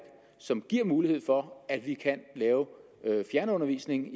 som giver mulighed for at vi i kan lave fjernundervisning